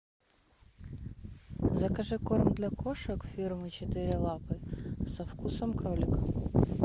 закажи корм для кошек фирмы четыре лапы со вкусом кролика